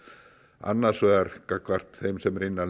annars vegar gagnvart þeim sem eru innan